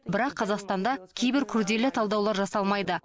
бірақ қазақстанда кейбір күрделі талдаулар жасалмайды